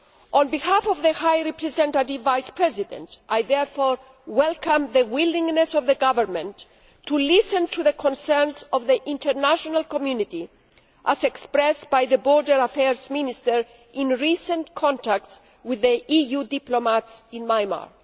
On behalf of the High Representative Vice President, I therefore welcome the willingness of the Government to listen to the concerns of the international community, as expressed by the Border Affairs Minister in recent contacts with EU diplomats in Myanmar.